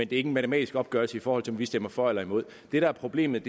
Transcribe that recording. det ikke en matematisk opgørelse i forhold til om vi stemmer for eller imod det der er problemet